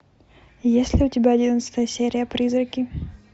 есть ли у тебя одиннадцатая серия призраки